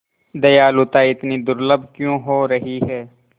दयालुता इतनी दुर्लभ क्यों हो रही है